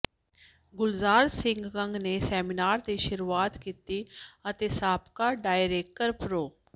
ਗੁਲਜ਼ਾਰ ਸਿੰਘ ਕੰਗ ਨੇ ਸੈਮੀਨਾਰ ਦੀ ਸ਼ੁਰੂਆਤ ਕੀਤੀ ਅਤੇ ਸਾਬਕਾ ਡਾਇਰੈਕਰ ਪ੍ਰੋ